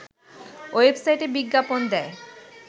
ওয়েবসাইটে বিজ্ঞাপন দেয়